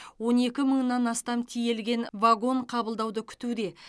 он екі мыңнан астам тиелген вагон қабылдауды күтуде